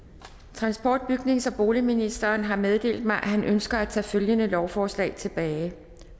transport bygnings og boligministeren har meddelt mig at han ønsker at tage følgende lovforslag tilbage